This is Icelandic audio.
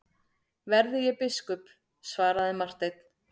Verði ég biskup, svaraði Marteinn.